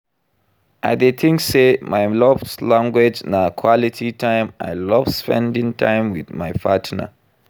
I dey think say my love language na quality time, I love spending time with my partner.